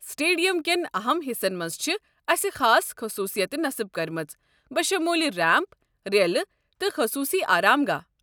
Stadium کٮ۪ن اَہَم حِصن مَنٛز چھِ اسہِ خاص خصوٗصیتہٕ نصب کٔرمٕژ، بشمول ریمپ، ریلہٕ، تہٕ خٔصوٗصی آرام گاہ ۔